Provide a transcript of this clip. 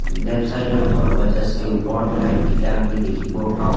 Left side ত ওপৰত light কিতা আমি দেখিব পাওঁ।